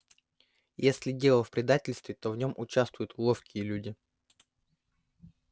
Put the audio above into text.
если дело в предательстве то в нем участвуют ловкие люди